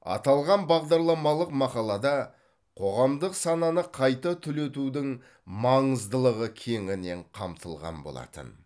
аталған бағдарламалық мақалада қоғамдық сананы қайта түлетудің маңыздылығы кеңінен қамтылған болатын